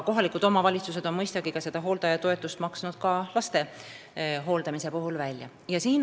Kohalikud omavalitsused on seda hooldajatoetust mõistagi ka laste hooldamise puhul välja maksnud.